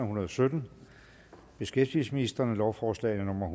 hundrede og sytten beskæftigelsesministeren lovforslag nummer